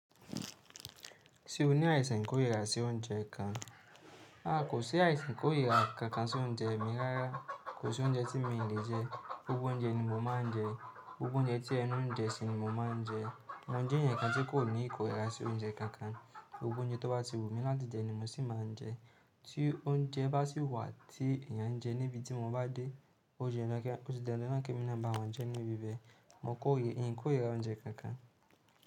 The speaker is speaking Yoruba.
Ṣé o ní àìsàn ìkórira sí oúnjẹ kan? Aà, kò sí àìsàn ìkórira kankan sí oúnjẹ mi rárá. Kò sí oúnjẹ tí mi ò lè jẹ. Gbogbo oúnjẹ ni mo máa ń jẹ. Gbogbo oúnjẹ tí ẹnu ń jẹ sì ni mo máa ń jẹ. Mojé èeyàn kan tí kò ní ìkórira sí oúnjẹ kankan. Ogún oúnjẹ tó bá ti wù mí láti jẹ ni mo sì máa ń jẹ. Tí oúnjẹ bá sì wà tí èèyàn ń jẹ níbi tí mo bá dé, ó di dandan náà kí èmi máa bá wọn jẹ níbi bẹ́ẹ̀. Mio kórira oúnjẹ kankan.